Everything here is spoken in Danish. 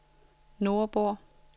Nordborg